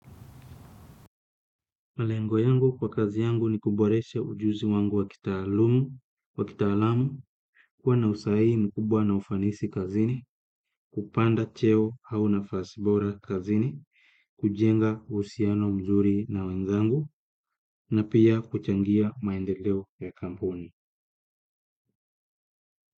Malengo yangu kwa kazi yangu ni kuboresha ujuzi wangu wa kitaalumu, kwa kitaalamu, kuwa na usahihi mkubwa na ufanisi kazini, kupanda cheo au nafasi bora kazini, kujenga uhusiano mzuri na wenzangu, na pia kuchangia maendeleo ya kampuni.